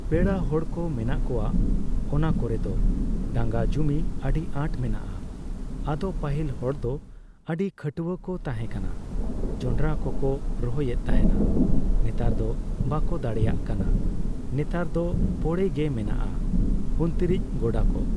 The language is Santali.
ᱯᱮᱲᱟ ᱦᱚᱲ ᱠᱚ ᱢᱮᱱᱟᱜ ᱠᱚᱣᱟ ᱾ ᱚᱱᱟ ᱠᱚᱨᱮᱫ ᱫᱚ ᱰᱟᱝᱜᱟ ᱡᱚᱢᱤ ᱟᱹᱰᱤ ᱟᱸᱴ ᱢᱮᱱᱟᱜᱼᱟ ᱾ ᱟᱫᱚ ᱯᱟᱹᱦᱤᱞ ᱦᱚᱲ ᱫᱚ ᱟᱹᱰᱤ ᱜᱷᱟᱹᱴᱭᱟᱹ ᱠᱚ ᱛᱟᱦᱮᱸ ᱠᱟᱱᱟ ᱾ ᱡᱚᱱᱰᱨᱟ ᱠᱚᱠᱚ ᱨᱚᱦᱚᱭ ᱮᱫ ᱛᱟᱦᱮᱱᱟ ᱾ᱱᱮᱛᱟᱨ ᱫᱚ ᱵᱟᱠᱚ ᱫᱟᱲᱮᱭᱟᱜ ᱠᱟᱱᱟ ᱾ ᱱᱮᱛᱟᱨ ᱫᱚ ᱯᱚᱲᱮ ᱜᱮ ᱢᱮᱱᱟᱜᱼᱟ ᱩᱱᱛᱤᱨᱤᱡ ᱜᱚᱰᱟᱠᱚ ᱾